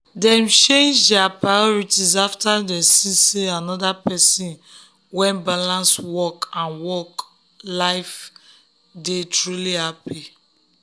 e dey calm for work because him mentor show am say cool head dey help lead um well.